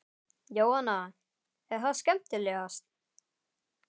Jóhanna: Er það skemmtilegast?